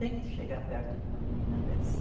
Tente chegar perto de uma menina dessas.